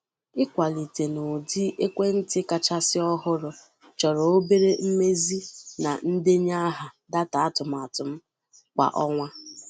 Ịkwalite n'ụdị ekwentị kachasị ọhụrụ chọrọ obere mmezi na ndenye aha data atụmatụ m kwa ọnwa.